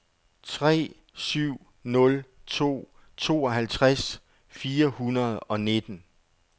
tre syv nul to tooghalvtreds fire hundrede og nitten